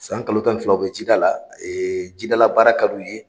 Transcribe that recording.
San kalo tan ni fila u bɛ jida la, jidala jidala baara ka d'u ye